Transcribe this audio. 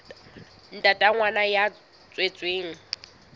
ntate wa ngwana ya tswetsweng